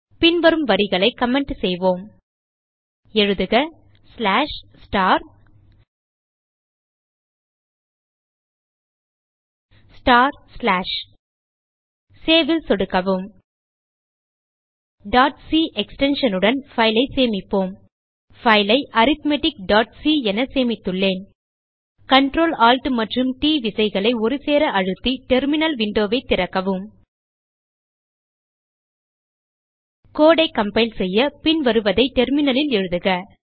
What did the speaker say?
பின்வரும் வரிகளை கமெண்ட் செய்வோம் எழுதுக சேவ் ல் சொடுக்கவும் c எக்ஸ்டென்ஷன் உடன் பைல் ஐ சேமிப்போம் பைல் ஐ arithmeticசி என சேமித்துள்ளேன் Ctrl Alt மற்றும் ட் விசைகளை ஒருசேர அழுத்தி டெர்மினல் விண்டோ ஐ திறக்கவும் கோடு ஐ கம்பைல் செய்ய பின்வருவதை terminalலில் எழுதுக